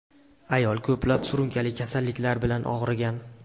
Ayol ko‘plab surunkali kasalliklar bilan og‘rigan.